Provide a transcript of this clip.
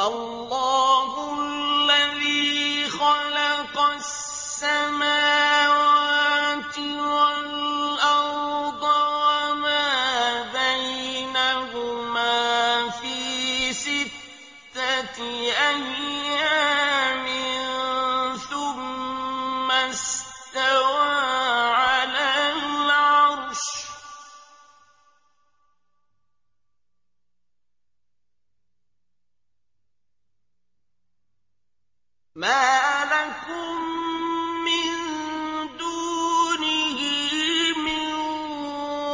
اللَّهُ الَّذِي خَلَقَ السَّمَاوَاتِ وَالْأَرْضَ وَمَا بَيْنَهُمَا فِي سِتَّةِ أَيَّامٍ ثُمَّ اسْتَوَىٰ عَلَى الْعَرْشِ ۖ مَا لَكُم مِّن دُونِهِ مِن